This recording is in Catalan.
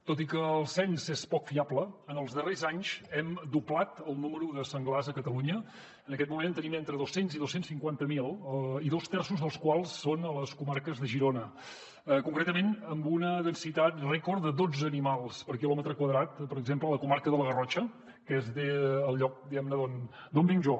tot i que el cens és poc fiable en els darrers anys hem doblat el nombre de senglars a catalunya en aquest moment en tenim entre dos cents i dos cents i cinquanta miler i dos terços dels quals són a les comarques de girona concretament amb una densitat rècord de dotze animals per quilòmetre quadrat per exemple a la comarca de la garrotxa que és el lloc diguem·ne d’on vinc jo